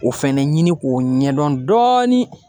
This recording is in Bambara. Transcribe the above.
O fɛnɛ ɲini k'o ɲɛdɔn dɔɔnin